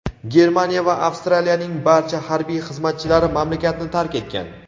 Germaniya va Avstraliyaning barcha harbiy xizmatchilari mamlakatni tark etgan.